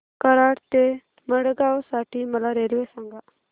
कराड ते मडगाव साठी मला रेल्वे सांगा